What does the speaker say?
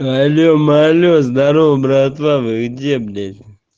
алло малё здарова братва вы где блять